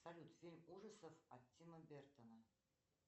салют фильм ужасов от тима бертона